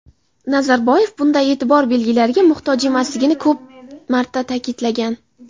Nazarboyev bunday e’tibor belgilariga muhtoj emasligini ko‘p marta ta’kidlagan.